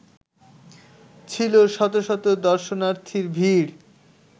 ছিল শত শত দর্শনার্থীর ভীড়